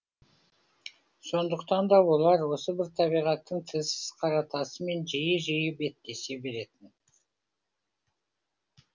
сондықтан да болар осы бір табиғаттың тілсіз қара тасымен жиі жиі беттесе беретін